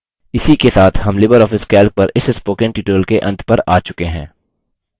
इसी के साथ हम libreoffice calc पर इस spoken tutorial के अंत पर आ चुके हैं